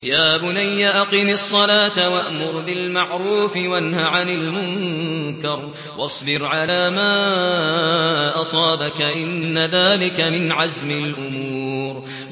يَا بُنَيَّ أَقِمِ الصَّلَاةَ وَأْمُرْ بِالْمَعْرُوفِ وَانْهَ عَنِ الْمُنكَرِ وَاصْبِرْ عَلَىٰ مَا أَصَابَكَ ۖ إِنَّ ذَٰلِكَ مِنْ عَزْمِ الْأُمُورِ